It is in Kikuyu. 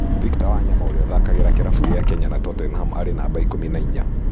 Victor Wanyama ũria ũthakagira kĩravũkĩa Kenya na Tottenham arĩ numba ikũmi na inya.